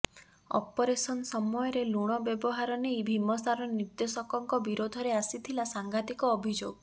operation ସମୟରେ ଲୁଣ ବ୍ୟବହାର ନେଇ ଭୀମସାର ନିର୍ଦ୍ଦେଶକଙ୍କ ବିରୋଧରେ ଆସିଥିଲା ସାଂଘାତିକ ଅଭିଯୋଗ